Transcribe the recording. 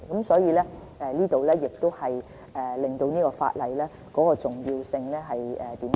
所以，這顯示修訂法例的重要性。